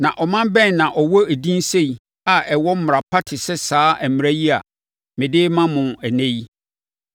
Na ɔman bɛn na ɛwɔ edin sei a ɛwɔ mmara pa te sɛ saa mmara yi a mede rema mo ɛnnɛ yi?